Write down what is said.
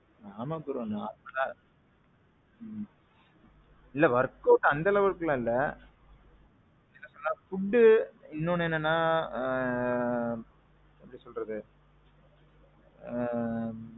ஆமாம் bro normalஅ. இல்ல work out அந்த அளவுக்கு எல்லாம் இல்ல. என்ன food. இன்னொன்னு என்னன்னா ஆ. எப்பிடி சொல்றது. ஆ.